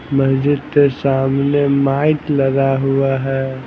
मस्जिद के सामने माइक लगा हुआ है।